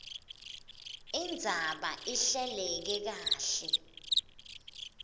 indzaba ihleleke kahle